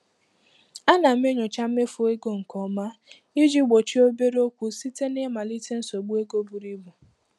A na m enyocha mmefu ego nke ọma iji gbochie obere okwu site na ịmalite nsogbu ego buru ibu.